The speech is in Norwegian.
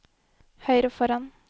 høyre foran